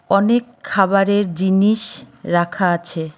অনেক খাবারের জিনিস রাখা আছে।